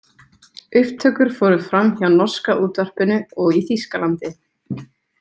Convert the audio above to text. Upptökur fóru fram hjá Norska útvarpinu og í Þýskalandi.